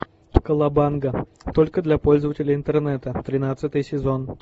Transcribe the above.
колобанга только для пользователей интернета тринадцатый сезон